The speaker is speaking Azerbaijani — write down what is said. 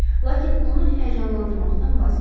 Lakin onu həyəcanlandırmaqdan vas keçdi.